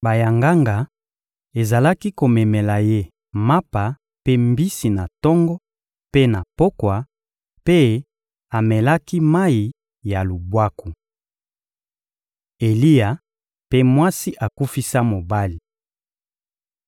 Bayanganga ezalaki komemela ye mapa mpe mbisi na tongo mpe na pokwa, mpe amelaki mayi ya lubwaku. Eliya mpe mwasi akufisa mobali